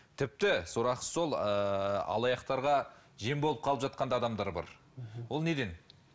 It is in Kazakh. тіпті сорақысы сол ыыы алаяқтарға жем болып қалып жатқан да адамдар бар ол неден